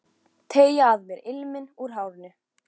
Teyga að mér ilminn úr hárinu.